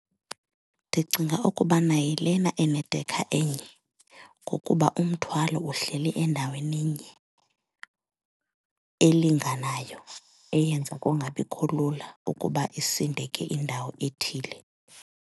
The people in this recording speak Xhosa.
Ndicinga ukubana yilena enedekha enye ngokuba umthwalo uhleli endaweni enye elinganayo eyenza kungabikho lula ukuba isindeke indawo ethile.